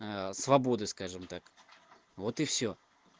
свободы скажем так вот и всё